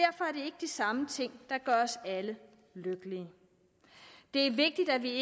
ikke de samme ting der gør os alle lykkelige det er vigtigt at vi